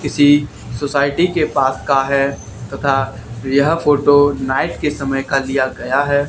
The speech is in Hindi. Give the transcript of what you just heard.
किसी सोसाइटी के पास का है तथा यह फोटो नाइट के समय का लिया गया है।